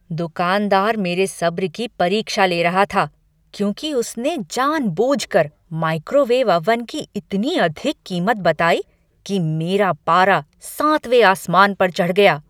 दुकानदार मेरे सब्र की परीक्षा ले रहा था, क्योंकि उसने जानबूझकर माइक्रोवेव अवन की इतनी अधिक कीमत बताई कि मेरा पारा सांतवें आसमान पर चढ़ गया।